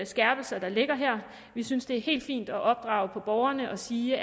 skærpelser der ligger her vi synes det er helt fint at opdrage borgerne og sige